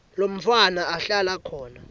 lomntfwana ahlala khona